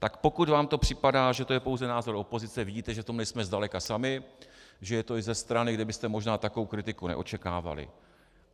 Tak pokud vám to připadá, že to je pouze názor opozice, vidíte, že v tom nejsme daleka sami, že je to i ze strany, kde byste možná takovou kritiku neočekávali.